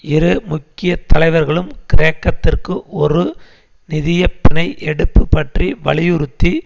இரு முக்கிய தலைவர்களும் கிரேக்கத்திற்கு ஒரு நிதிய பிணை எடுப்பு பற்றி வலியுறுத்தி